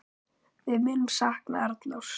Við munum sakna Arnórs.